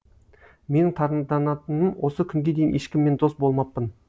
менің таңданатыным осы күнге дейін ешкіммен дос болмаппын